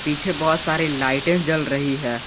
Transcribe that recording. पीछे बहुत सारे लाइटे जल रही है।